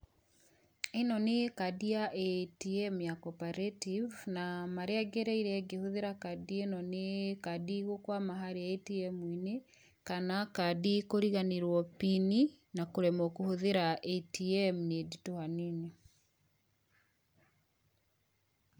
Ĩno nĩ kandi ya ATM ya Co-operative, na marĩa ngereire ngĩhũthĩra kandi ĩno nĩ kandi gũkuama harĩa ATM-inĩ, kana kandi kũriganĩrũo pini na kũremwo kũhũthĩra ATM nĩ nditũ hanini.